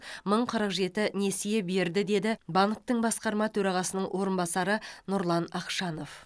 мың қырық жеті несие берді деді банктің басқарма төрағасының орынбасары нұрлан ақшанов